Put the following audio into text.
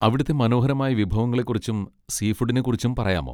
അവിടുത്തെ മനോഹരമായ വിഭവങ്ങളെ കുറിച്ചും സീ ഫുഡിനെ കുറിച്ചും പറയാമോ?